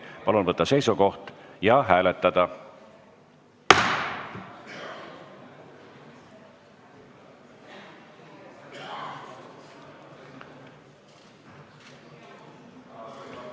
Palun võtta seisukoht ja hääletada!